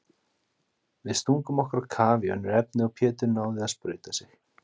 Við stungum okkur á kaf í önnur efni og Pétur náði að sprauta sig.